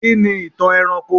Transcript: Kí ni ìtàn ẹranko?